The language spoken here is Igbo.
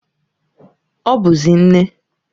Ọ bụzi nne.